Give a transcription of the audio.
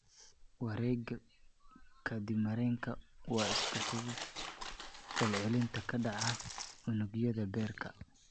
Wareegga kaadimareenka waa isku xigxiga falcelinta ka dhaca unugyada beerka.